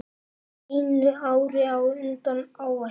Einu ári á undan áætlun.